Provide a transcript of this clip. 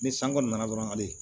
Ni san kɔni nana dɔrɔn ale